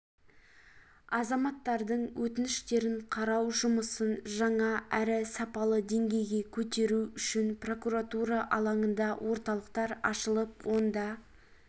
азаматтардың өтініштерін қарау жұмысын жаңа әрі сапалы деңгейге көтеру үшін прокуратура алаңында орталықтар ашылып онда